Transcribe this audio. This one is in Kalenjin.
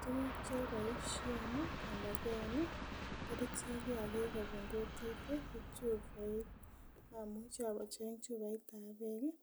Tukuk choboisien anaken kerichek kiagik kobun kutit ko chuboit amuche acheng chuboitab beek